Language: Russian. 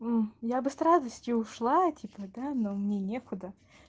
я бы с радостью ушла типа да но мне некуда